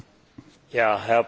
Herr Präsident!